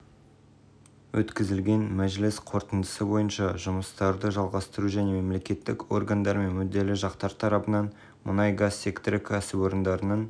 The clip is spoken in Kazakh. ете алатын импортқа акциз формуласын есептеу болуы мүмкін оған қоса ауыл шаруашылығының қажеттіліктері үшін отынды